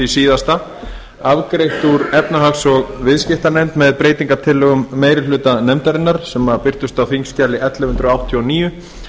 síðasta afgreitt úr efnahags og viðskiptanefnd með breytingartillögum meiri hluta nefndarinnar sem birtust á þingskjali ellefu hundruð áttatíu og níu